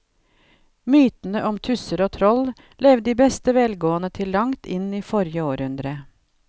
Mytene om tusser og troll levde i beste velgående til langt inn i forrige århundre.